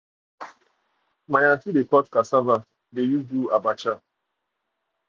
my um aunty dey cut cassava to use do abacha um